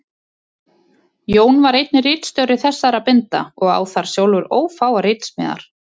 Jón var einnig ritstjóri þessara binda og á þar sjálfur ófáar ritsmíðar.